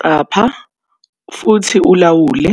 Qapha futhi ulawule